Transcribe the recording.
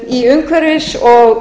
í umhverfis og